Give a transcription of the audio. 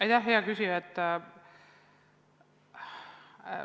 Aitäh, hea küsija!